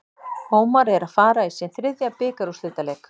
Ómar er að fara í sinn þriðja bikarúrslitaleik.